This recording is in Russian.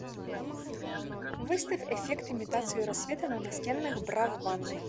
выставь эффект имитацию рассвета на настенных бра в ванной